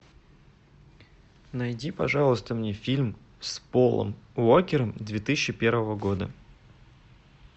найди пожалуйста мне фильм с полом уокером две тысячи первого года